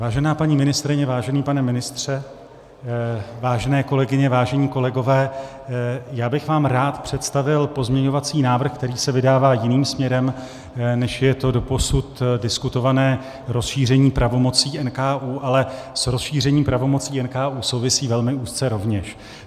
Vážená paní ministryně, vážený pane ministře, vážené kolegyně, vážení kolegové, já bych vám rád představil pozměňovací návrh, který se vydává jiným směrem, než je to doposud diskutované rozšíření pravomocí NKÚ, ale s rozšířením pravomocí NKÚ souvisí velmi úzce rovněž.